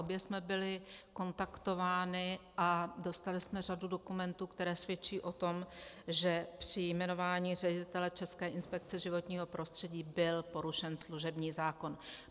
Obě jsme byly kontaktovány a dostaly jsme řadu dokumentů, které svědčí o tom, že při jmenování ředitele České inspekce životního prostředí byl porušen služební zákon.